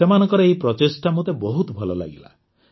ସେମାନଙ୍କର ଏହି ପ୍ରଚେଷ୍ଟା ମୋତେ ବହୁତ ଭଲ ଲାଗିଲା